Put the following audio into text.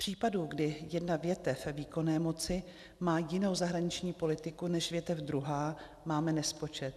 Případů, kdy jedna větev výkonné moci má jinou zahraniční politiku než větev druhá, máme nespočet.